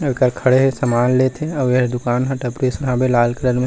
ये करा खड़े हे सामान लेथे आऊ ये दुकान ह टपरी असन हावे लाल कलर में--